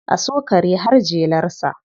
A so kare har jelarsa.